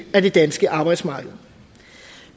af det danske arbejdsmarked